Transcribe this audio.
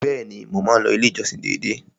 Bẹ́ẹ̀ni, mo máa ń lọ ilé ìjọsìn dédé.